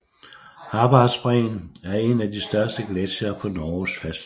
Harbardsbreen er en af de største gletsjere på Norges fastland